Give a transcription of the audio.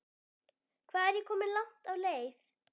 Hvað er ég komin langt á leið?